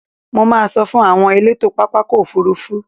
Mo máa sọ fún àwọn elétò pápákọ̀ òfurufú.